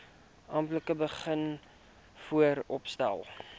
amptelik begin vooropstel